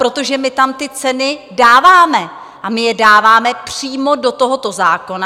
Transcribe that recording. Protože my tam ty ceny dáváme a my je dáváme přímo do tohoto zákona.